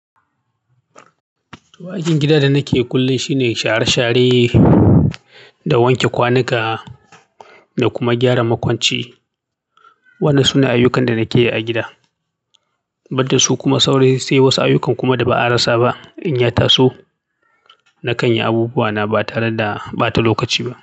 To aikin gidan da nake kullum shine share share, da wanke kwanuka da kuma gyara makwanci. Waɗannan su ne ayyukan da nake yi a gida, baddin su kuma sauri sai wasu ayyukan kuma da ba a rasa ba in ya taso. Na kan yi abubuwa na ba tare da ɓata lokaci ba.